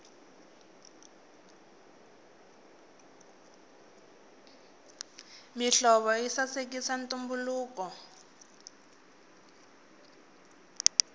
mihlovo yi sasekisa ntumbuluko